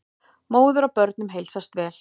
Móður og börnum heilsast vel.